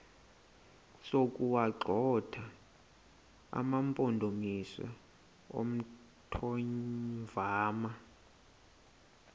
sokuwagxotha amampondomise omthonvama